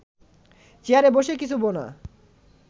চেয়ারে বসে কিছু বোনা